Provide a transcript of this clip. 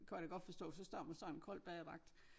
Kan jeg da godt forstå for så står man sådan kold badedragt